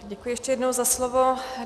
Děkuji ještě jednou za slovo.